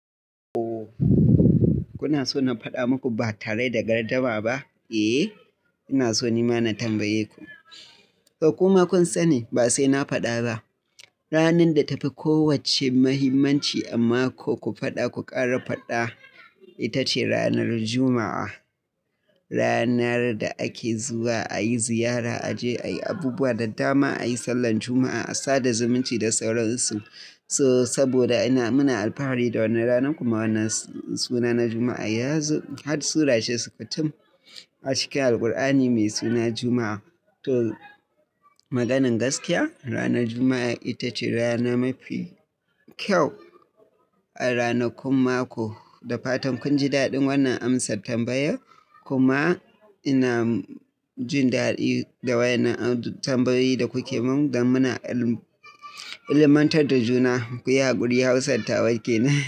Ooo, kuna so na faɗa muku ba tare da gardama ba? Eh, ina so nima na tambaye ku. To kuma kun sani, ba sai na faɗa ba. Ranar da ta fi kowacce muhimmanci amma ko ku faɗa ko ƙara faɗa, ita ce ranar Juma'a. Ranar da ake zuwa a yi ziyara, a je a yi abubuwa da dama, a yi sallar Juma'a, a sada zumunci da sauran su. So saboda ina, muna alfahari da wannan ranar kuma wannan suna na Juma'a ya zo, har surace sukutum a cikin Alqur'ani mai suna Juma'a. To, maganan gaskiya, ranar Juma'a ita ce rana mafi kyau a rana, kun mako. Da fatan kun ji daɗin wannan amsattambaya kuma ina jin daɗi da wannan tambayoyi da kuke mun da muna ilmantar da juna. Ku yi hakuri hausar tawa ke nan.